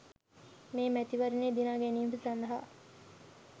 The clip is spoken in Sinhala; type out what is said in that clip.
මේ මැතිවරණය දිනා ගැනීම සඳහා